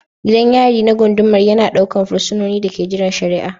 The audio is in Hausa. Gidan yari na gundumar yana ɗaukar fursunonin da ke jiran shari'a